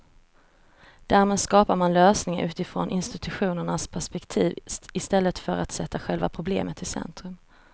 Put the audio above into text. Därmed skapar man lösningar utifrån institutionernas perspektiv i stället för att sätta själva problemet i centrum.